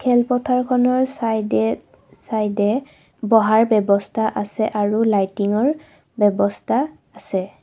খেলপথাৰখনৰ চাইডে চাইডে বহাৰ ব্যৱস্থা আছে আৰু লাইৰ্টিংৰ ব্যৱস্থা আছে।